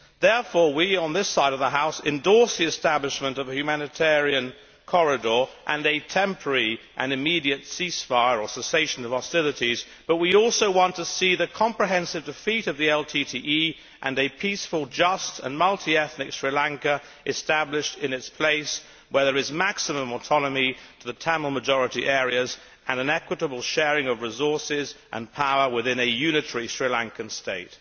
Therefore, we on this side of the House endorse the establishment of a humanitarian corridor and a temporary and immediate ceasefire or cessation of hostilities, but we also want to see the comprehensive defeat of the LTTE and a peaceful, just and multi ethnic Sri Lanka established in its place, where there is maximum autonomy to the Tamil majority areas and an equitable sharing of resources and power within a unitary Sri Lankan state.